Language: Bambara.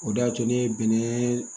O de y'a to ne ye bɛnɛ